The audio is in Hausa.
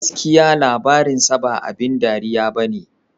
"Gaskiya labarinsa ba abin dariya ba ne"